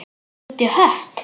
Það er út í hött.